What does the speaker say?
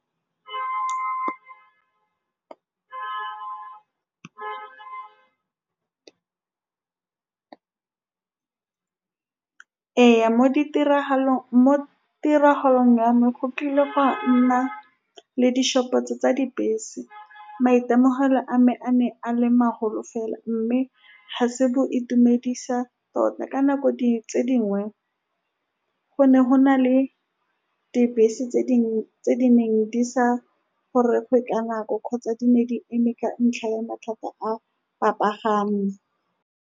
Ee, mo ditiragalong, mo tiragalong ya me go kile ga nna le ditshupetso tsa dibese. Maitemogelo a me a ne a le maholo fela, mme ga se boitumedisa tota. Ka nako tse dingwe go ne go na le dibese tse dingwe tse di neng di sa goroge ka nako, kgotsa di ne di eme ka ntlha ya mathata a-a bapagami.